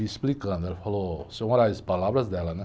E explicando, ela falou, seu, palavras dela, né?